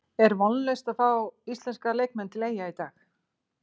Er vonlaust að fá íslenska leikmenn til Eyja í dag?